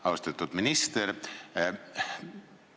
Austatud minister!